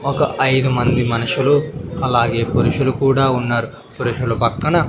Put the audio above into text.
ఒక ఐదు మంది మనుషులు అలాగే పురుషులు కూడా ఉన్నారు పురుషుల పక్కన--